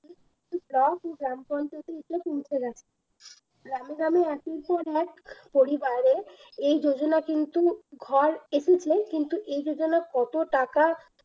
block ও গ্রাম পঞ্চায়েত গ্রামে গ্রামে একের পর এক পরিবারে এই যোজনা কিন্তু ঘর এসেছে কিন্তু এ যোজনা কত টাকা